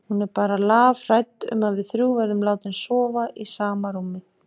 Hún er bara lafhrædd um að við þrjú verðum látin sofa í sama rúmi.